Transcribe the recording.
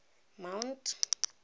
mount